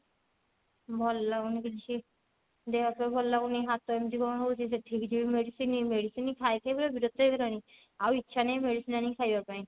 ଭଲ ଲାଗୁନି କିଛି ଦେହ ଫେହ ଭଲ ଲାଗୁନି ହାତ ଏମତି କଣ ହଉଛି ସେଠି ବି ସେଇ medicine medicine ଖାଇ ଖାଇ ପୁରା ବିରକ୍ତିଆ ହେଇଗଲିଣି ଆଉ ଇଛା ନାହିଁ medicine ଆଣିକି ଖାଇବା ପାଇଁ